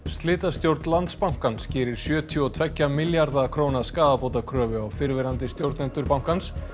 slitastjórn Landsbankans gerir sjötíu og tveggja milljarða króna skaðabótakröfu á fyrrverandi stjórnendur bankans